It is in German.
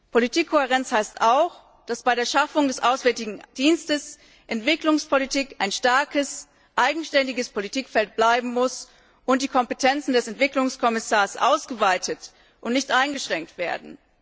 Politikkohärenz heißt auch, dass bei der Schaffung des Auswärtigen Dienstes Entwicklungspolitik ein starkes eigenständiges Politikfeld bleiben muss und die Kompetenzen des Entwicklungskommissars ausgeweitet und nicht eingeschränkt werden.